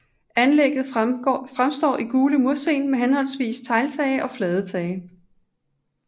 Anlægget fremstår i gule mursten og med henholdsvis tegltage og flade tage